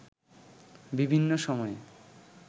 বিভিন্ন সময়ে